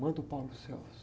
Manda o.